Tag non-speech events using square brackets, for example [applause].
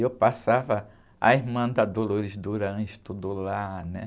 E eu passava a irmã da [unintelligible] estudou lá, né?